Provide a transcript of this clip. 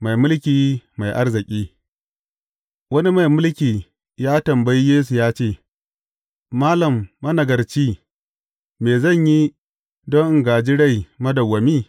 Mai mulki mai arziki Wani mai mulki ya tambayi Yesu ya ce, Malam managarci, me zan yi don in gāji rai madawwami?